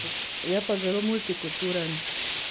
Je pa zelo multikulturen.